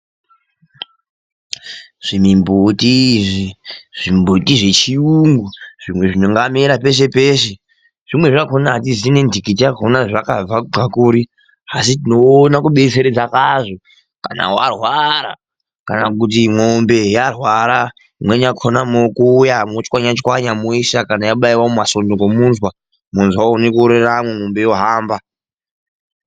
Zvimimbuti zvechirungu zvimwe zvingamera peshe peshe. Zvimweni zvakona atizivi nendikiti yakona yazvakabva kubva kuri asi tinoona kudetseredza kwazvo kana warwara kana kuti mombe yarwara imweni yakona mokuuya motswanya tswanya moisa kana yabaiwa mumasunga nomunzwa munzwa uone kuoreramo mundu ohamba.